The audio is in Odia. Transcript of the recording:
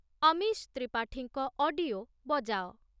ଅମିଶ ତ୍ରିପାଠୀଙ୍କ ଅଡିଓ ବଜାଅ।